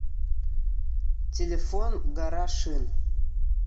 телефон гора шин